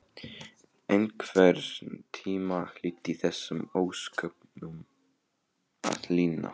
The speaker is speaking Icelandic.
Einhvern tíma hlyti þessum ósköpum að linna.